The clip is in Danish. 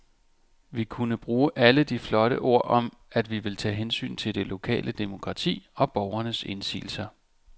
Vi kunne bruge alle de flotte ord om, at vi ville tage hensyn til det lokale demokrati og borgernes indsigelser.